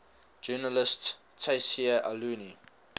journalist tayseer allouni